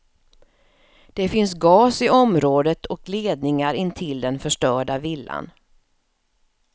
Det finns gas i området och ledningar intill den förstörda villan.